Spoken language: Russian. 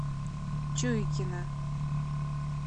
чуйкина